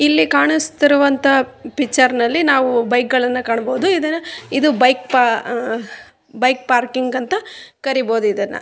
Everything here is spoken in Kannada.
ಇಲ್ಲಿ ಕಾಣಿಸುತ್ತಿರುವಂತ ಪಿಚ್ಚರ್ನಲ್ಲಿ ನಾವು ಬೈಕ್ ಗಳನ್ನ ಕಾಣ್ಬಹುದು ಇದು ಇದು ಬೈಕ್ ಬೈಕ್ ಪಾರ್ಕ್ ಅಂತ ಕರೀಬಹುದು ಇದನ್ನ.